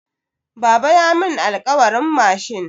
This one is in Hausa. Baba ya mun alkawarin mashin.